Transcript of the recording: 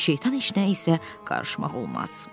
Şeytan heç nəyə isə qarışmaq olmaz.